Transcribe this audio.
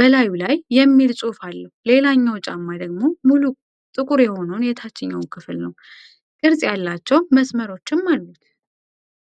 በላዩ ላይ 'DOCTOR' የሚል ጽሑፍ አለው። ሌላኛው ጫማ ደግሞ ሙሉ ጥቁር የሆነውን የታችኛውን ክፍል ነው፤ ቅርጽ ያላቸው መስመሮችም አሉት።